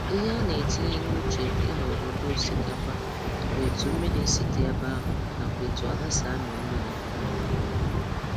Ihe a na-etinye n' uche ịhọrọ ụdị osikapa bụ etu mmiri si di ebe ahụ nakwa etu ala si amị mmiri um